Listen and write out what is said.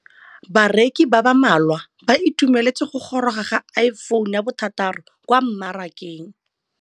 Bareki ba ba malwa ba ituemeletse go gôrôga ga Iphone6 kwa mmarakeng.